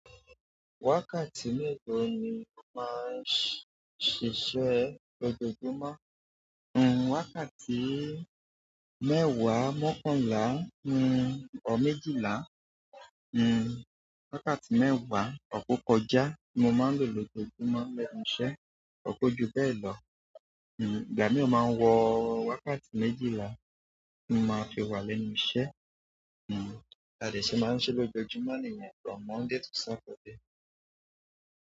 Wákàtí mẹ́ta ni mo máa ń ṣiṣẹ́ lójoojúmọ́. Hmm wákàtí mẹ́wàá mọ́kànlá, hmm ọ̀ méjìlá, hmm wákàtí mẹ́wàá ọ̀pọ̀ kọjá ni mo máa ń lò lójojúmọ́ lẹ́nu iṣẹ́. Kojubelo ìgbà mi o má wo wákàtí méjìlá ni má fi wà lẹ́nu iṣẹ́ bá dẹ̀ ṣe má ṣe lójojúmọ́ nìyẹn láti Monday di sátidé.